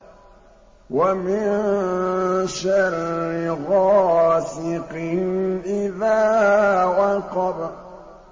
وَمِن شَرِّ غَاسِقٍ إِذَا وَقَبَ